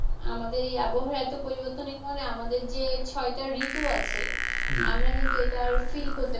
আমাদের এই আবহাওয়া এতো পরিবর্তনের কারনে আমাদের যে ছয়টা ঋতু আছে আমরা কিন্তু এইটা আর feel করতে পারিনা।